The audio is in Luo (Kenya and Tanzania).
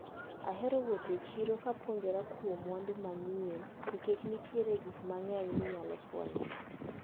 Ahero wuotho e chiro ka apuonjrakuom mwandu manyien nikech nitiere gikmang`eny minyalo fwenyo.